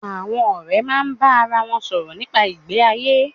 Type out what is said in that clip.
Àwon òré máa bá ara won sòrò nípa ìgbé ayé